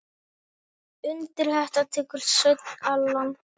Undir þetta tekur Sveinn Allan.